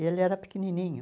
E ele era pequenininho.